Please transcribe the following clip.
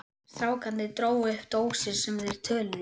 Strákarnir drógu upp dósir sem þeir töluðu í.